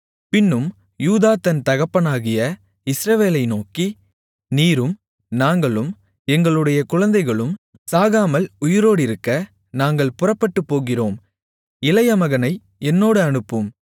பின்னும் யூதா தன் தகப்பனாகிய இஸ்ரவேலை நோக்கி நீரும் நாங்களும் எங்களுடைய குழந்தைகளும் சாகாமல் உயிரோடிருக்க நாங்கள் புறப்பட்டுப்போகிறோம் இளைய மகனை என்னோடு அனுப்பும்